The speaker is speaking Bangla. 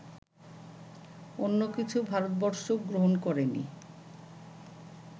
অন্য কিছু ভারতবর্ষ গ্রহণ করেনি